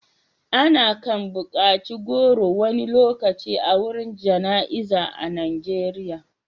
ana kan bukaci goro wani lokaci a gurin Jana'za a Najeriya